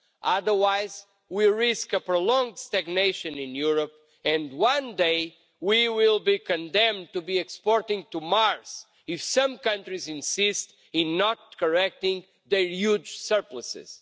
Otherwise, we risk prolonged stagnation in Europe and, one day, we will be condemned to be exporting to Mars, if some countries insist in not correcting their huge surpluses.